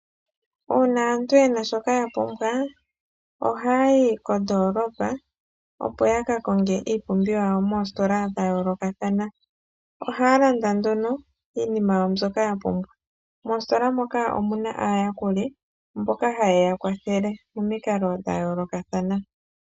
Uuna aantu yena shoka ya pumbwa, ohaayi kondoolopa opo ya ka konge iipumbiwa yawo moositola dha yoolokathana. Ohaya landa nduno iinima yawo mbyoka ya pumbwa. Moositola moka omuna aayakuli mboka haye ya kwathele momikalo dha yoolokathana.